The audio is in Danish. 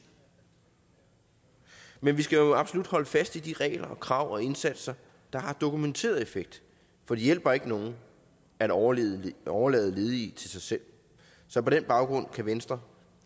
men vi skal jo absolut holde fast i de regler og krav og indsatser der har dokumenteret effekt for det hjælper ikke nogen at overlade overlade ledige til sig selv så på den baggrund kan venstre